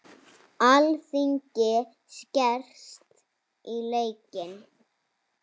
Alþingi skerst í leikinn